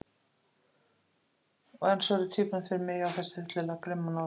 Og enn svöruðu tvíburarnir fyrir mig: Já, þessi hryllilega grimma norn.